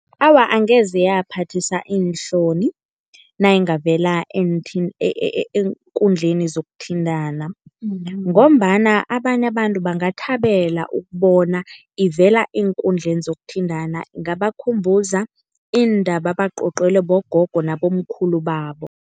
Awa angeze yaphathisa iinhloni nayingavela eenkundleni zokuthintana ngombana abanye abantu bangathabela ukubona ivela eenkundleni zokuthintana, ingaba khumbuza iindaba ebacocelwe bogogo nabomkhulu babo.